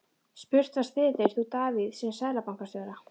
Spurt var, styður þú Davíð sem Seðlabankastjóra?